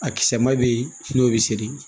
A kisɛ ma bɛ ye n'o bɛ seri